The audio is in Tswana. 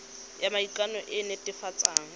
ya maikano e e netefatsang